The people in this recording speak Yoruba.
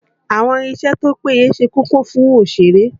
Àwọn irinṣẹ́ tó péye ṣe kókó fún òṣèré